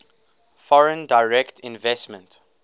foreign direct investment